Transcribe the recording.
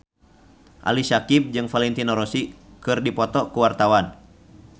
Ali Syakieb jeung Valentino Rossi keur dipoto ku wartawan